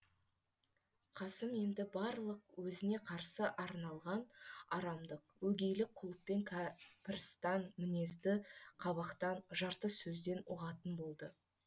қасым енді барлық өзіне қарсы арналған арамдық өгейлік құлықпен кәпірстан мінезді қабақтан жарты сөзден ұғатын болды